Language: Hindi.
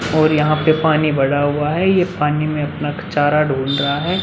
और यहाँ पे पानी भरा हुआ है। ये पानी में अपना चारा ढूंड रहा है।